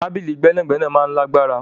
Tabili gbẹnagbẹna maa n lagbara